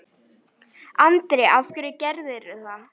Andri: Af hverju gerirðu það?